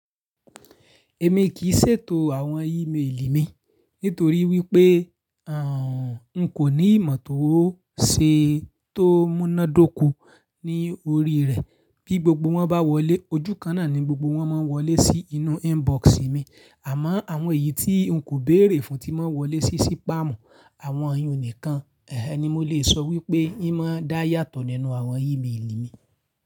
Èmi kì í ṣètò àwọn ímeèlì mi nítorí wípé, n kò ní ìmọ̀ tó ṣe tó múnádóko ní orí rẹ̀. Bí gbogbo wọn bá wọlé, ojúkan náà ni gbogbo wọn máa ń wọlé sí inú inbox mi, àmọ́ àwọn èyí tí n kò béèrè fún tí máa ń wọlé sí sípámù. Àwọn iyùn nìkan, ẹh ẹh, ni mo lè sọ wípé́ í máa ń dá yàtọ̀ nínú àwọn ímeèlì mi.